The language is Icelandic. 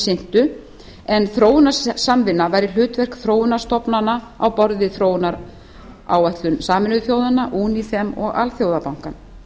sinntu en þróunarsamvinna væri hlutverk þróunarstofnana á borð við þróunaráætlun sameinuðu þjóðanna unifem og alþjóðabankann